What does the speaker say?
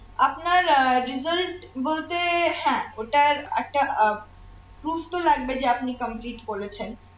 আপনার uh result বলতে হ্যাঁ ওটার একটা আব prove তো লাগবে যা আপনি complete করেছেন